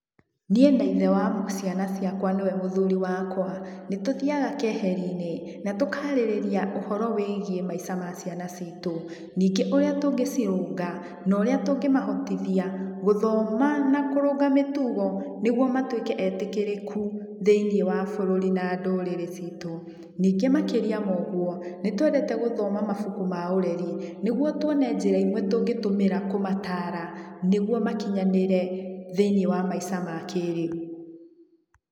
Niĩ na ithe wa ciana ciakwa nĩwe mũthuri wakwa, nĩtũthiaga keheri-inĩ natũkarĩrĩria ũhoro wĩgiĩ maica ma ciana citũ, ningĩ ũrĩa tũngĩcirũnga na ũrĩa tũngĩmahotithia gũthona nakũrũnga mĩtugo nĩgetha matuĩke etĩkĩrĩku thĩiniĩ wa bũrũri na ndũrĩrĩ citũ. Ningĩ makĩrĩa ma ũguo nĩ twendete gũthoma mabuku ma ũreri nĩguo tuone njĩra imwe tũngĩtũmĩra kũmatara nĩguo makinyanĩre thĩiniĩ wa maica ma kĩrĩu.